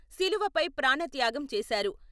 శిలువపై ప్రాణత్యాగం చేశారు.